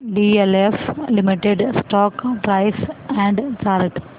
DLF limited stock price and chart